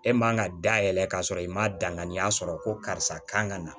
E man ka dayɛlɛ ka sɔrɔ i ma danganiya sɔrɔ ko karisa kan ka na